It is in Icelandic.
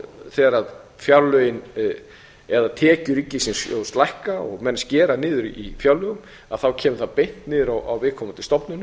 þegar fjárlögin eða tekjur ríkissjóðs lækka og menn skera niður í fjárlögum kemur það beint niður á viðkomandi stofnunum